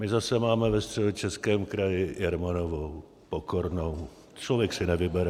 My zase máme ve Středočeském kraji Jermanovou Pokornou, člověk si nevybere.